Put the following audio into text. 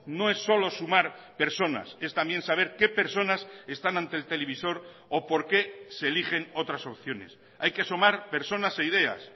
no es solo sumar personas es también saber qué personas están ante el televisor o por qué se eligen otras opciones hay que sumar personas e ideas